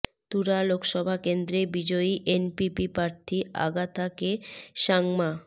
তুরা লোকসভা কেন্দ্ৰে বিজয়ী এনপিপি প্ৰার্থী আগাথা কে সাংমা